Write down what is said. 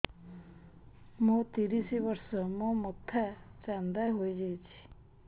ମୋ ତିରିଶ ବର୍ଷ ମୋ ମୋଥା ଚାନ୍ଦା ହଇଯାଇଛି